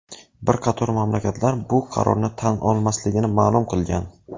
Bir qator mamlakatlar bu qarorni tan olmasligini ma’lum qilgan.